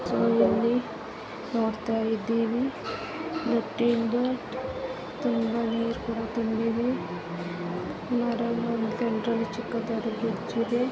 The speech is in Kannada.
ಇಲ್ಲಿ ನೋಡ್ತಾ ಇದ್ದೇವೆ ಪ್ರತಿಯೊಂದು ನೀರು ತುಂಬಾ ತುಂಬಿದೆ .